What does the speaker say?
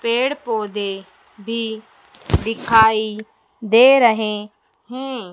पेड़-पौधे भी दिखाई दे रहे हैं।